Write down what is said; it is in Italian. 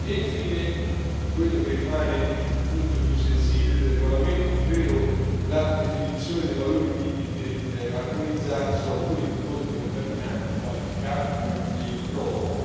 Infine, vi è quello che rimane il punto più sensibile del regolamento, ovvero la definizione dei valori limite armonizzati su alcuni prodotti contaminanti, quali il cadmio e il cromo.